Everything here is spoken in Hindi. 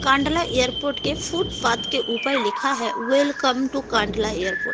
कांडला एयरपोर्ट के फुटपाथ के ऊपर लिखा है। Welcome to Kandla airport.